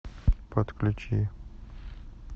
подключи